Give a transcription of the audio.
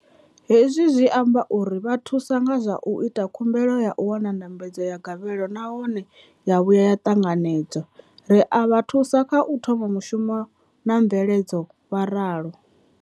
Hezwi zwi amba uri ri vha thusa nga zwa u ita khumbelo ya u wana ndambedzo ya gavhelo nahone ya vhuya ya ṱanganedzwa, ri a vha thusa kha u thoma mushumo na mveledzo, vha ralo.